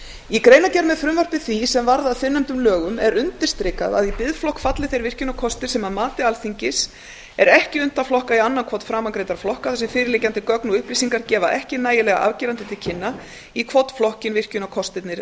í greinargerð með frumvarpi því sem varð að fyrrnefndum lögum er undirstrikað að í biðflokk falli þeir virkjunarkostir sem að mati alþingis er ekki unnt að flokka í annan hvorn framangreindra flokka þar sem fyrirliggjandi gögn og upplýsingar gefa ekki nægilega afgerandi til kynna í hvorn flokkinn virkjunarkostirnir